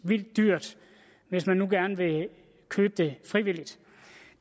vildt dyrt hvis man nu gerne vil købe det frivilligt